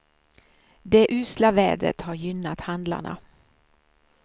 Det usla vädret har gynnat handlarna.